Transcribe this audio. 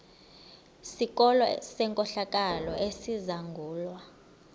sikolo senkohlakalo esizangulwa